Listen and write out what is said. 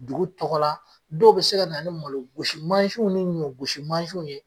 Dugu tɔgɔla dɔw bɛ se kana ni malogosi mansinw ni ɲɔgosi mansinw ye